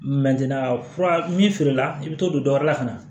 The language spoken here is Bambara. fura min feerela i bɛ t'o don dɔ wɛrɛ la ka na